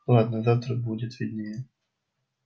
ладно завтра будет виднее